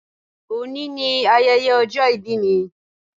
Òní ni ayẹyẹ ọjọ́ ìbí mi